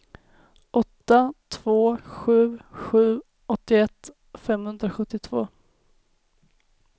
åtta två sju sju åttioett femhundrasjuttiotvå